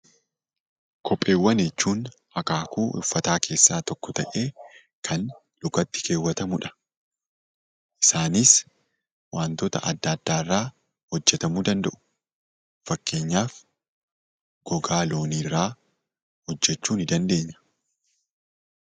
Kopheewwan jechuun akaakuu uffataa keessaa tokko ta'ee kan lukatti kaawwatamudha. Isaanis wantoota adda addaarraa hojjatamuu danda'u. Fakkeenyaaf gogaa loonirraa hojjachuu ni dandeenya.